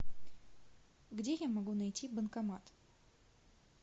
где я могу найти банкомат